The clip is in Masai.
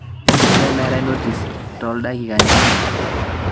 olly meetae notis too ildakikani imiet